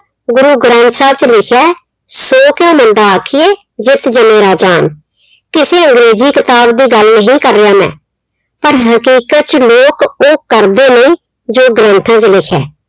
ਗੁਰੂ ਗ੍ਰੰਥ ਸਾਹਿਬ ਚ ਲਿਖਿਆ ''ਸੋ ਕਿਉ ਮੰਦਾ ਆਖੀਐ ਜਿਤੁ ਜੰਮਹਿ ਰਾਜਾਨ'' ਕਿਸੇ ਅੰਗ੍ਰੇਜ਼ੀ ਕਿਤਾਬ ਦੀ ਗੱਲ ਨਹੀਂ ਕਰ ਰਿਹਾ ਮੈਂ ਪਰ ਹਕੀਕਤ ਚ ਲੋਕ ਉਹ ਕਰਦੇ ਨਹੀਂ ਜੋ ਗ੍ਰੰਥਾਂ ਚ ਲਿਖਿਆ